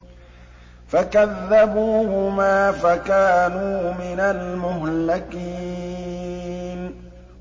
فَكَذَّبُوهُمَا فَكَانُوا مِنَ الْمُهْلَكِينَ